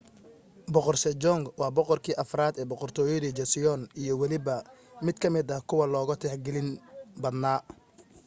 boqor sejong waa boqorkii afraad ee boqortooyadii joseon iyo weliba mid ka mida kuwa loogu tixgelin badnaa